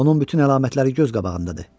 Onun bütün əlamətləri göz qabağındadır.